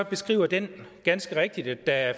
beskriver den ganske rigtigt at der er